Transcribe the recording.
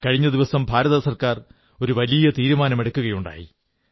കഴിഞ്ഞ ദിവസം കേന്ദ്ര ഗവൺമെന്റ് ഒരു വലിയ തീരുമാനമെടുക്കുകയുണ്ടായി